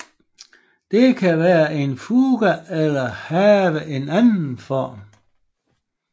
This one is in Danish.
Det kan være en fuga eller have en anden form